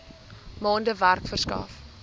maande werk verskaf